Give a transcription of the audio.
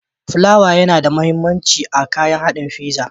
Plawa yana da mahimmanci a kayan haɗin fiza.